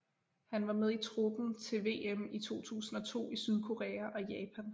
Han var med i truppen til VM i 2002 i Sydkorea og Japan